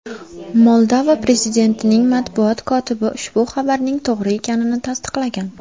Moldova prezidentining matbuot kotibi ushbu xabarning to‘g‘ri ekanini tasdiqlagan.